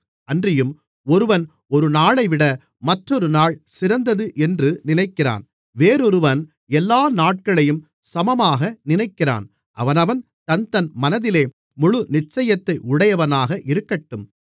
அன்றியும் ஒருவன் ஒருநாளைவிட மற்றொரு நாள் சிறந்தது என்று நினைக்கிறான் வேறொருவன் எல்லா நாட்களையும் சமமாக நினைக்கிறான் அவனவன் தன்தன் மனதிலே முழு நிச்சயத்தை உடையவனாக இருக்கட்டும்